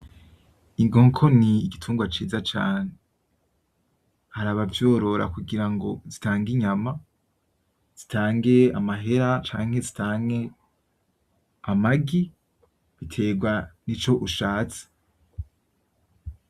Inkoko ni igitungwa ciza cane, haraba vyorora kugira ngo zitange inyama, zitange amahera canke zitange amagi. Biterwa nico ushatse.